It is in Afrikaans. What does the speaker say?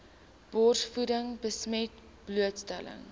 borsvoeding besmet blootstelling